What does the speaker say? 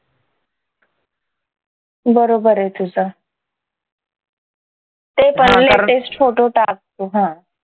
बरोबर ये तुझं ते पण latest फोटो टाक तू हं